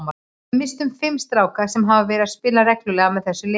Við misstum fimm stráka sem hafa verið að spila reglulega með þessu liði.